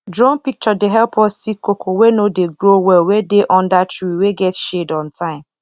drone picture dey help us see cocoa wey no dey grow well wey dey under tree wey get shade on time